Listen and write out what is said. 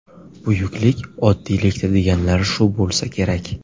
Buyuklik oddiylikda deganlari shu bo‘lsa kerak.